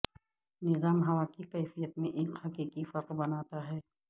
نظام ہوا کی کیفیت میں ایک حقیقی فرق بناتا ہے